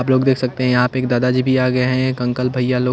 आप लोग देख सकते हैं यहाँ पे एक दादाजी भी आ गए हैं एक अंकल भैया लोग--